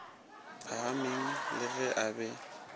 phahameng le ge a be